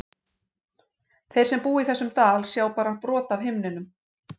Þeir sem búa í þessum dal sjá bara brot af himninum.